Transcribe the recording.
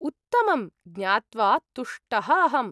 उत्तमम्! ज्ञात्वा तुष्टः अहम्।